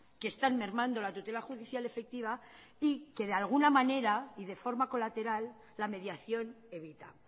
que están mermando la tutela judicial efectiva y que de alguna manera y de forma colateral la mediación evita